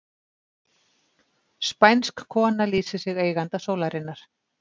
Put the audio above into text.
Spænsk kona lýsir sig eiganda sólarinnar